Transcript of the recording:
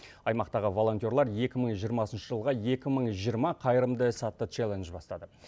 аймақтағы волонтерлар екі мың жиырмасыншы жылға екі мың жиырма қайырымды іс атты челлендж бастады